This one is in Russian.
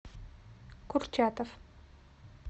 курчатов